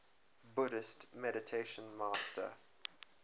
buddhist meditation master